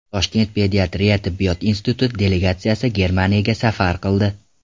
Toshkent pediatriya tibbiyot instituti delegatsiyasi Germaniyaga safar qildi.